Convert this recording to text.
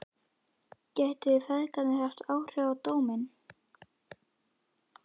Gætu þeir feðgarnir haft áhrif á dóminn?